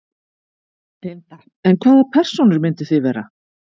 Linda: En hvaða persónur myndið þið vera?